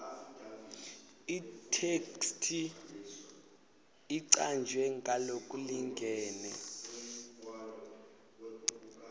itheksthi icanjwe ngalokulingene